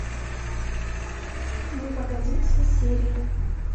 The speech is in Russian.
ну погоди все серии